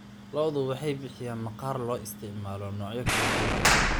Lo'du waxay bixiyaan maqaar loo isticmaalo noocyo kala duwan.